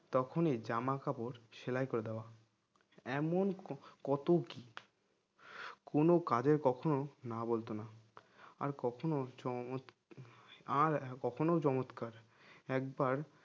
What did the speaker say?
তখনই জামা কাপড় সেলাই করে দেওয়া এমন ক~কত কি কোন কাজে কখনো না বলতো না আর কখনো চমৎ আর কখনো চমৎকার একবার